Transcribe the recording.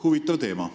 Huvitav teema.